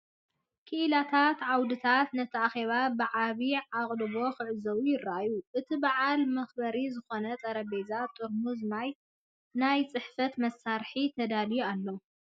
ክኢላታት ዓውድታቶም ነቲ ኣኼባ ብዓቢ ኣቓልቦ ክዕዘብዎ ይረኣዩ። ንቲ በዓል መኽበሪ ዝኸውን ጠረጴዛን ጥርሙዝ ማይን ናይ ጽሕፈት መሳርሒታትን ተዳልዩ ኣሎ።